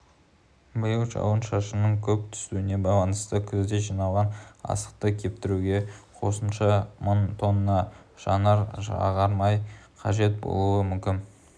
биыл жауын-шашынның көп түсуіне байланысты күзде жиналған астықты кептіруге қосымша мың тонна жанар-жағармай қажет болуы мүмкін